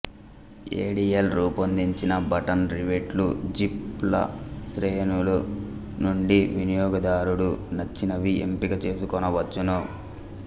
ఏ D L రూపొందించిన button రివెట్లు zip ల శ్రేణుల నుండి వినియోగదారుడు నచ్చినవి ఎంపిక చేసుకొనవచ్చును